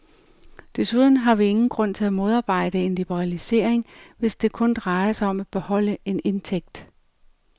Desuden har vi ingen grund til at modarbejde en liberalisering, hvis det kun drejer sig om at beholde en indtægt.